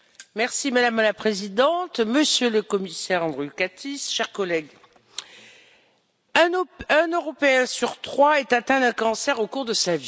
Madame la Présidente, Monsieur le Commissaire Andriukaitis, chers collègues, un Européen sur trois est atteint d'un cancer au cours de sa vie.